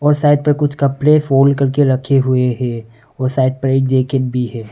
Side पर कुछ कपड़े फोल्ड करके रखे हुए है और साइड पर एक जैकेट भी है।